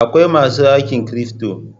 Akwai masu aikin cryfto.